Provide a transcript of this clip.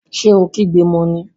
Ṣé o kígbe mọ ní?